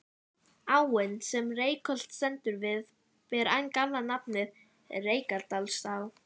Áin sem Reykholt stendur við ber enn gamla nafnið, Reykjadalsá.